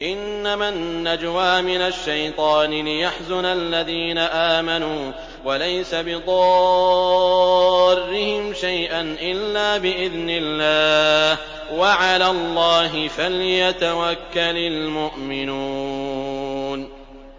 إِنَّمَا النَّجْوَىٰ مِنَ الشَّيْطَانِ لِيَحْزُنَ الَّذِينَ آمَنُوا وَلَيْسَ بِضَارِّهِمْ شَيْئًا إِلَّا بِإِذْنِ اللَّهِ ۚ وَعَلَى اللَّهِ فَلْيَتَوَكَّلِ الْمُؤْمِنُونَ